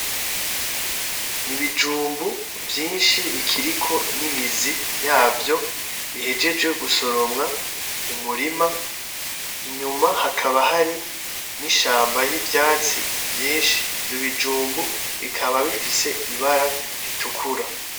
N'ibijumbu vyishi bikiriko n'imizi yavyo bihejeje gusoromwa mumurima inyuma hakaba hari n'ishamba yivyatsi vyishi ivyo bijumbu bikaba bifise ibara ritukura